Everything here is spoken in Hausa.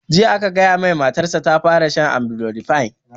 Jiya aka gaya mai matar sa ta fara shan amlodipine